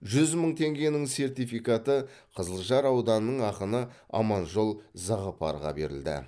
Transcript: жүз мың теңгенің сертификаты қызылжар ауданының ақыны аманжол зағыпарға берілді